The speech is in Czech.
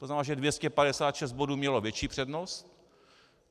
To znamená, že 256 bodů mělo větší přednost.